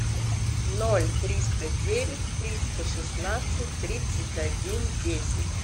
ноль триста девять триста шестнадцать тридцать один десять